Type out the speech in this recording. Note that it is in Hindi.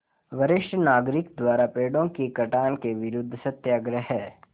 वरिष्ठ नागरिक द्वारा पेड़ों के कटान के विरूद्ध सत्याग्रह